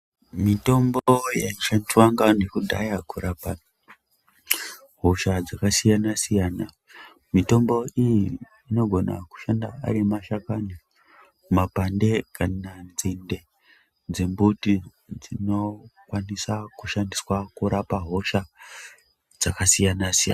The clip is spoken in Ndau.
Mitombo yechivantu kudhaya kurapa dzakasiyana siyana mitombo iyi inogona kushanda Makwande emanzinde dzembuti dzizokona kushanda.